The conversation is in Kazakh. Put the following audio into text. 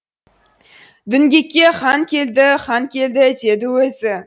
діңгекке хан келді хан келді деді өзі